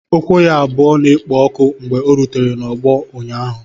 Ụkwụ ya abụọ na-ekpo ọkụ mgbe ọ rutere n'ọgbọ ụnyaahụ